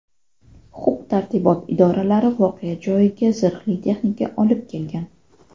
Huquq tartibot idoralari voqea joyiga zirhli texnika olib kelgan.